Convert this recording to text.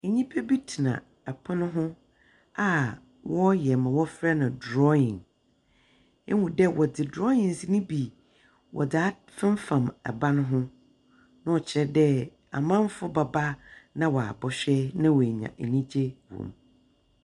Nyimpabi tsena pon ho a wɔreyɛ ma wɔfrɛ no drawing. Ihu dɛ wɔdze drawings no bi wɔdze at femfam ban ho. Na ɔkyerɛ dɛ amanfo bɛba na wɔabɔhwɛ na woenya enyigye wɔ mu.